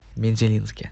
мензелинске